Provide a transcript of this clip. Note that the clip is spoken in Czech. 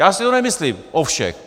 Já si to nemyslím o všech.